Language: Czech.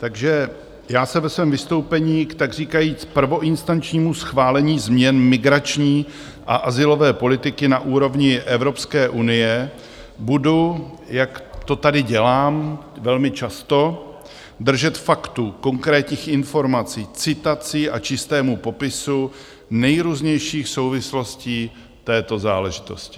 Takže já se ve svém vystoupení k takříkajíc prvoinstančnímu schválení změn migrační a azylové politiky na úrovni Evropské unie budu, jak to tady dělám velmi často, držet faktů, konkrétních informací, citací a čistého popisu nejrůznějších souvislostí této záležitosti.